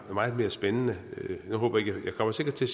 meget mere spændende jeg kommer sikkert til